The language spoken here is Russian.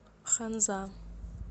ханза